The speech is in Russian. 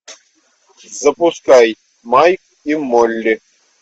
запускай майк и молли